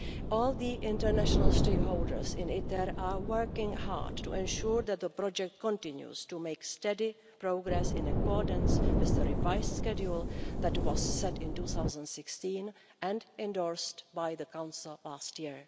All the international stakeholders in ITER are working hard to ensure that the project continues to make steady progress in accordance with the revised schedule that was set in 2016 and endorsed by the Council last year.